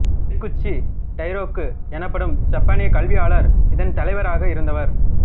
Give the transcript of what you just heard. Kikuchi Dairoku எனப்படும் ஜப்பானிய கல்வியாளர் இதன் தலைவராக இருந்தவர்